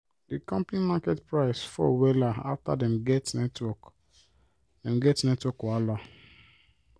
di company market price fall wella after dem get network dem get network wahala